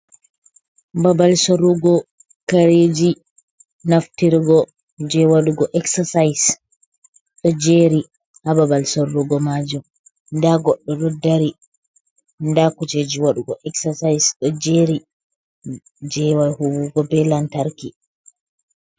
Babal sorrugo kareji naftirgo je waɗugo eksasais. ɗo jeri ha babal sorrugo majum. Ɗa goɗɗo ɗo ɗari, ɗaa kuceji waɗugo eksasais ɗo jeri. Je wal huwugo be lantarki.